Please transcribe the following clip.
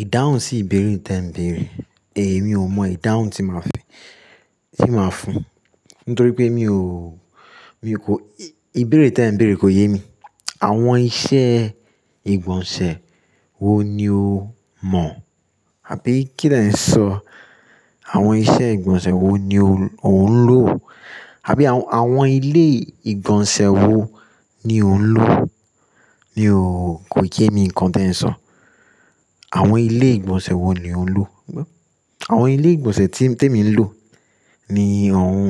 Ìdáhùn sí ìbéèrè tí ẹ̀ ń béèrè, èmi ò mọ ìdáhùn tí máa fun, tí máa fún. Nítorí pé mi ò, mi kò, ìbéèrè tí ẹ̀ ń béèrè kò yé mi. Àwọn iṣẹ́ ìgbọ̀nsẹ̀ wo ni o mọ̀? Àbí kín l'eń sọ? Àwọn iṣẹ́ ìgbọ̀nsẹ̀ wo ni ò ń lò? Àbí àwọn ilé ìgbọ̀nsẹ̀ wo ni ò ń lò? Mi o kò yé mi nǹkan tí ẹ̀ ń sọ. Àwọn ilé ìgbọ̀nsẹ̀ wo ni ò ń lò? Àwọn ilé ìgbọ̀nsẹ̀ tí èmi ń lò ni òun,